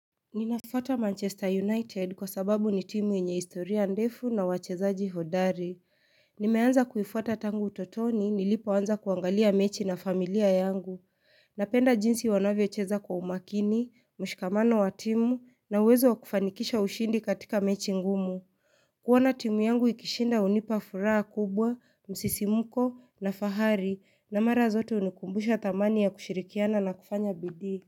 Ninafuata Manchester United kwa sababu ni timu yenye historia ndefu na wachezaji hodari. Nimeanza kuifata tangu utotoni nilipoanza kuangalia mechi na familia yangu. Napenda jinsi wanavyocheza kwa umakini, mshikamano wa timu na uwezo wa kufanikisha ushindi katika mechi ngumu. Kuona timu yangu ikishinda hunipa furaha kubwa msisimko na fahari na mara zote hunikumbusha dhamani ya kushirikiana na kufanya bidii.